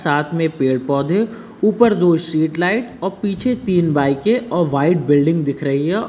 साथ में पेड़ पौधे ऊपर दो स्ट्रीट लाइट औ पीछे तीन बाइके औ व्हाइट बिल्डिंग दिख रही है औ--